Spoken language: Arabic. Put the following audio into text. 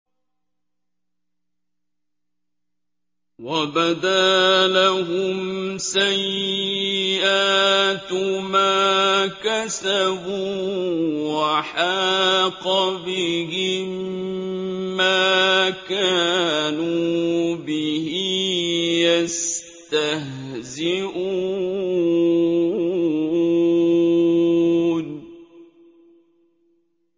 وَبَدَا لَهُمْ سَيِّئَاتُ مَا كَسَبُوا وَحَاقَ بِهِم مَّا كَانُوا بِهِ يَسْتَهْزِئُونَ